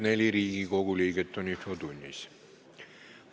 Kohaloleku kontroll Infotunnis on 44 Riigikogu liiget.